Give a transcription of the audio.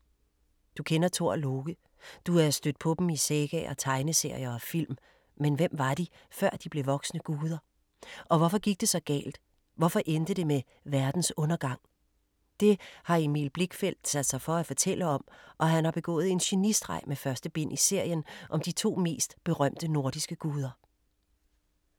Du kender Thor og Loke. Du er stødt på dem i sagaer, tegneserier og film, men hvem var de, før de blev voksne guder? Og hvorfor gik det så galt, hvorfor endte det med verdens undergang? Det har Emil Blichfeldt sat sig for at fortælle om, og han har begået en genistreg med første bind i serien om de to mest berømte nordiske guder.